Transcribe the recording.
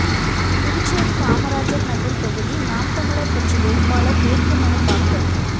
புதுச்சேரி காமராஜர் நகர் தொகுதி நாம் தமிழர் கட்சி வேட்பாளர் வேட்புமனு தாக்கல்